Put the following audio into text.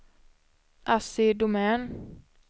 Assi Domän